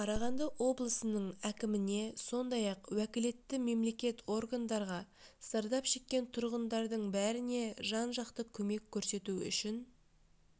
қарағанды облысының әкіміне сондай-ақ уәкілетті мемлекеттік органдарға зардап шеккен тұрғындардың бәріне жан-жақты көмек көрсету үшін